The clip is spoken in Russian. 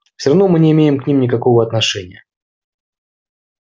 всё равно мы не имеем к ним никакого отношения